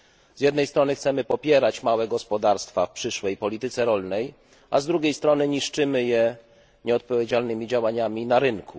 Z jednej strony chcemy popierać małe gospodarstwa w przyszłej polityce rolnej, a z drugiej strony niszczymy je nieodpowiedzialnymi działaniami na rynku.